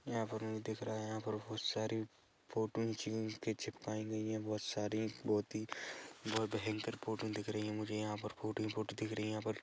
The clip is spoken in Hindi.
यहाँ पर हमें दिख रहा है यहाँ पर बहोत सारी फोटो चिपकाई गई है बहोत सारी बहोत ही बोहोत भयंकर फोटो दिख रही है मुझे यहाँ पर फोटो ही फोटो दिख रही है यहाँ पर --